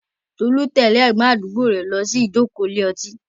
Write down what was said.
Tolu tẹ̀lé ẹ̀gbọ́n àdúgbò rẹ̀ lọ sí ìjókòó ilé ọtí.